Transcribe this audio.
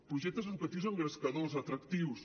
projectes educatius engrescadors atractius